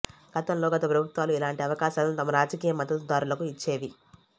గతంలో గత ప్రభుత్వాలు ఇలాంటి అవకాశాలను తమ రాజకీయ మద్దతుదారులకు ఇచ్చేవి